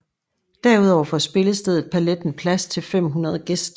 Derudover får spillestedet Paletten plads til 500 gæster